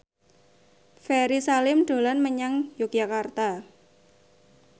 Ferry Salim dolan menyang Yogyakarta